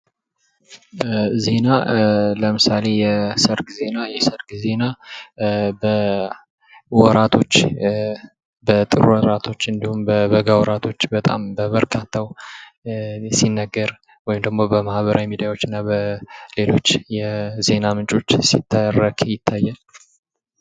ዜና ለምሳሌ የሰርግ ዜና ፥የሰርግ ዜና በወራቶች በጥር ወራቶች እንዲሁም በበጋ ወራቶች በጣም በበርካታው ሲነገር ወይም በማህበራዊ ሚድያዎች እና በሌሎች የዜና ምንጮች ሲተረክ ይታያል ።